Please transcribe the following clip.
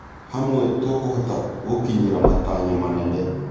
Hamwe, tũkũhota gũkinyĩra matanya manene.